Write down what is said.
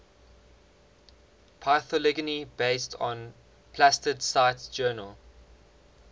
phylogeny based on plastid cite journal